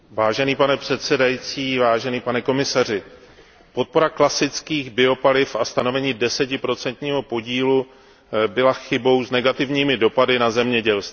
Pane předsedající, pane komisaři, podpora klasických biopaliv a stanovení desetiprocentního podílu byla chybou s negativními dopady na zemědělství.